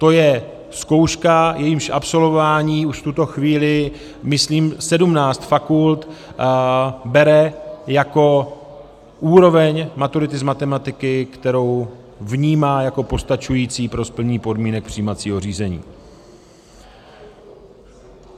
To je zkouška, jejímž absolvování už v tuto chvíli myslím 17 fakult bere jako úroveň maturity z matematiky, kterou vnímá jako postačující pro splnění podmínek přijímacího řízení.